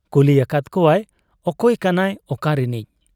ᱠᱩᱞᱤ ᱟᱠᱟᱫ ᱠᱚᱣᱟᱭ, 'ᱚᱠᱚᱭ ᱠᱟᱱᱟᱭ, ᱚᱠᱟ ᱨᱤᱱᱤᱡ ?'